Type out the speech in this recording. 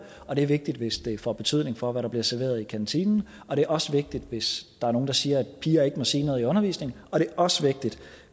og det er vigtigt hvis det får betydning for hvad der bliver serveret i kantinen og det er også vigtigt hvis der er nogen der siger at piger ikke må sige noget i undervisningen og det er også vigtigt